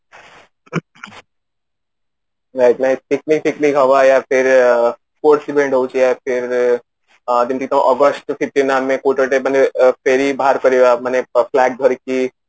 ଧରିକି